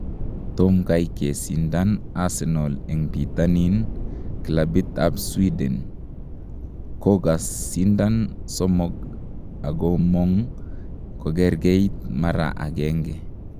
tomkai kesindan Arsenal en Pitanin Klabit ap Sweden � kogosindan somog agomong kogergeit mara agenge